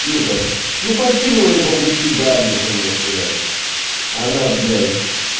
ну как ну поткинул я по пути до адреса можно сказать а она блять